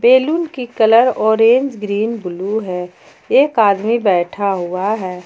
Balloon की colour orange green blue है एक आदमी बैठा हुआ है।